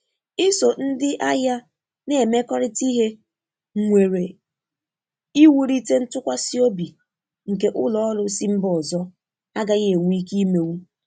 Iso ndi ahịa na-emekọrịta ihe nwere iwụlite ntụkwasi obi nke ụlọ ọrụ si mba ọzọ agaghị enwe ike imenwụ.